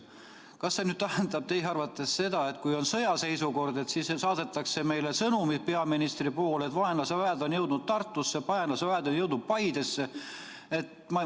Kas see tähendab teie arvates seda, et kui on sõjaseisukord, siis saadetakse meile peaministri sõnum, et vaenlase väed on jõudnud Tartusse, vaenlase väed on jõudnud Paidesse?